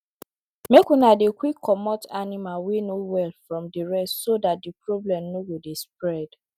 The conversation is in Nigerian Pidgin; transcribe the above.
make una dey quick comot animal wey no well from the rest so the problem no go dey spread